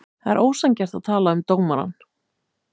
Það er ósanngjarnt að tala um dómarann.